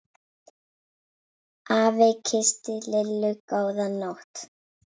Afi kyssti Lillu góða nótt.